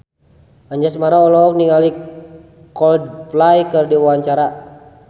Anjasmara olohok ningali Coldplay keur diwawancara